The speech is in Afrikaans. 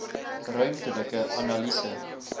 ruimtelike analise